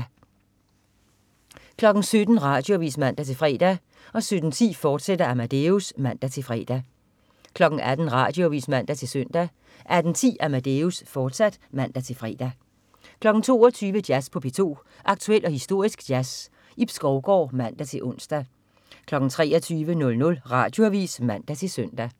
17.00 Radioavis (man-fre) 17.10 Amadeus, fortsat (man-fre) 18.00 Radioavis (man-søn) 18.10 Amadeus, fortsat (man-fre) 22.00 Jazz på P2. Aktuel og historisk jazz. Ib Skovgaard (man-ons) 23.00 Radioavis (man-søn)